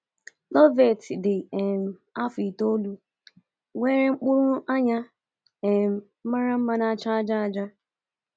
Loveth, dị um afọ itoolu, nwere mkpụrụ anya um mara mma na-acha aja-aja.